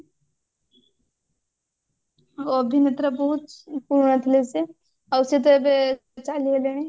ଅଭିନେତ୍ରା ବହୁତ ପୁରୁଣା ଥିଲେ ସେ ଆଉ ସେ ତ ଏବେ ଚାଲିଗଲେଣି